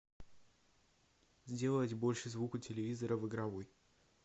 сделать больше звук у телевизора в игровой